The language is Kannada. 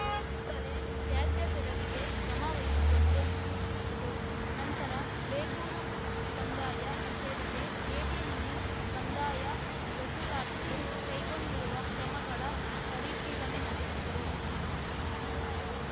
ಕೂಡಲೇ ತ್ಯಾಜ್ಯ ತೆರವಿಗೆ ಕ್ರಮ ವಹಿಸುವಂತೆ ಸೂಚಿಸಿದರು ನಂತರ ಬೇಗೂರು ಕಂದಾಯ ಕಚೇರಿಗೆ ಭೇಟಿ ನೀಡಿ ಕಂದಾಯ ವಸೂಲಾತಿಗೆ ಕೈಗೊಂಡಿರುವ ಕ್ರಮಗಳ ಪರಿಶೀಲನೆ ನಡೆಸಿದರು